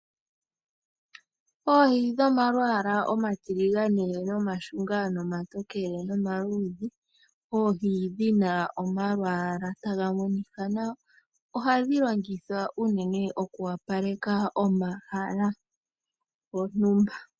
Oohi dhomalwaala omatiligane nomashunga, nomatokele , nomaluudhe ,oohi dhina omalwaala taga monika nawa ohadhi longithwa unene oku opaleka omahala gontumba.